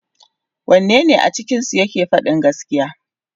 Wanne ne a cikinsu yake fadin gaskiya.